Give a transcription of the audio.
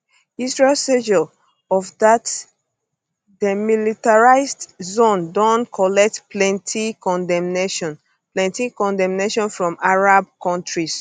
israel seizure of dat demilitarised zone don um collect plenti condemnation plenti condemnation from arab kontris